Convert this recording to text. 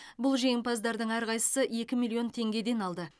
бұл жеңімпаздардың әрқайсысы екі миллион теңгеден алды